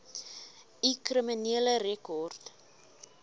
u kriminele rekord